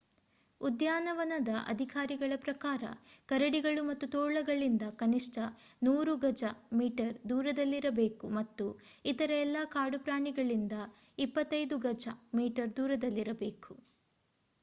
ಉದ್ಯಾನವನದ ಅಧಿಕಾರಿಗಳ ಪ್ರಕಾರ ಕರಡಿಗಳು ಮತ್ತು ತೋಳಗಳಿಂದ ಕನಿಷ್ಠ 100 ಗಜ/ಮೀಟರ್ ದೂರದಲ್ಲಿರಬೇಕು ಮತ್ತು ಇತರ ಎಲ್ಲಾ ಕಾಡು ಪ್ರಾಣಿಗಳಿಂದ 25 ಗಜ/ಮೀಟರ್ ದೂರದಲ್ಲಿರಬೇಕು!